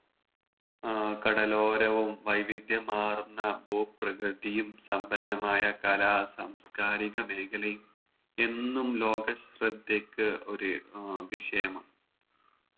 ഏർ കടലോരവും വൈവിധ്യമാർന്ന ഭൂ പ്രകൃതിയും സമ്പന്നമായ കലാ സാംസ്‌കാരിക മേഖലയും എന്നും ലോക ശ്രദ്ധക്ക് ഒരു വിഷയമാണ്